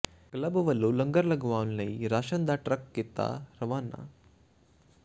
club ਵੱਲੋਂ ਲੰਗਰ ਲਗਾਉਣ ਲਈ ਰਾਸ਼ਨ ਦਾ ਟਰੱਕ ਕੀਤਾ ਰਵਾਨਾ